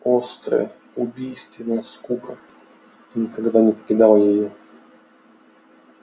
острая убийственная скука никогда не покидала её